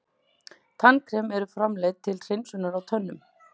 Tannkrem eru framleidd til hreinsunar á tönnum.